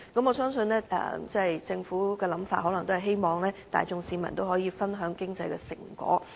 我相信政府的想法可能是希望市民大眾可以分享經濟成果。